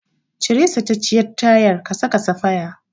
Cire sacacciyar tayar ka saka safaya.